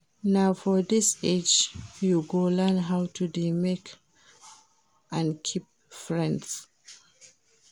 Na for dis age you go learn how to dey make and keep friends